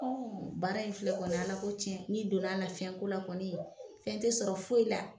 Baara in filɛ kɔni Ala ko tiɲɛ, ni donn'a la fɛn ko la kɔni, fɛn tɛ sɔrɔ foyi la.